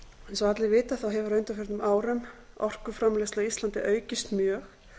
eins og allir vita hefur á undanförnum árum orkuframleiðsla á íslandi aukist mjög